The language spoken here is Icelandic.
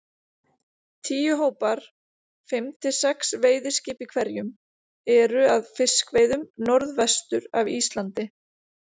Tíu hópar, fimm til sex veiðiskip í hverjum, eru að fiskveiðum norðvestur af Íslandi.